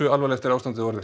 alvarlegt er ástandið orðið